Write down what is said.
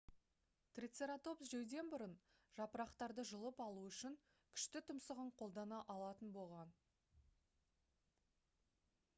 трицератопс жеуден бұрын жапырақтарды жұлып алу үшін күшті тұмсығын қолдана алатын болған